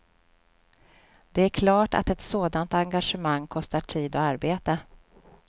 Det är klart att ett sådant engagemang kostar tid och arbete.